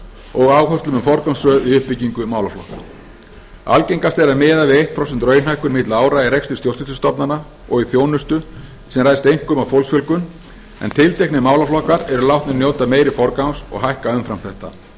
og áherslum um forgangsröð í uppbyggingu málaflokka algengast er að miða við eitt prósent raunhækkun milli ára í rekstri stjórnsýslustofnana og í þjónustu sem ræðst einkum af fólksfjölgun en tilteknir málaflokkar eru látnir njóta meiri forgangs og hækka umfram þetta